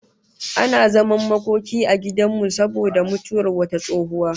Ana zaman makoki a gidan makobtan mu saboda mutuwar wata tsohuwa